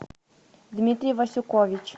дмитрий васюкович